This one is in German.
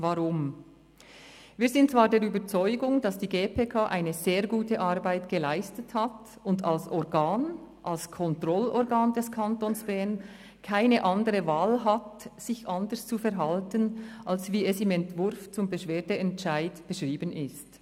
Wir sind zwar der Überzeugung, dass die GPK eine sehr gute Arbeit geleistet hat und als Organ – als Kontrollorgan des Kantons Bern – keine andere Wahl hat, sich anders zu verhalten, als wie es im Entwurf zum Beschwerdeentscheid beschrieben ist.